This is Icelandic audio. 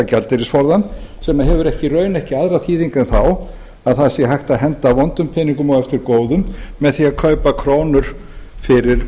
gjaldeyrisforðann sem hefur í raun ekki aðra þýðingu en þá að það sé hægt að henda vondum peningum eftir góðum með því að kaupa krónur fyrir